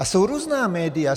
A jsou různá média.